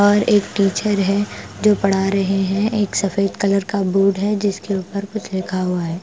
और एक टीचर है जो पढ़ा रहे हैं एक सफेद कलर का बोर्ड है जिसके ऊपर कुछ लिखा हुआ है।